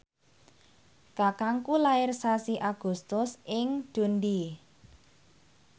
kakangku lair sasi Agustus ing Dundee